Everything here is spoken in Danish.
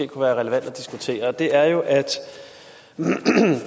kunne være relevant at diskutere og det er jo at